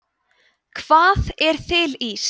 hvað er þiliís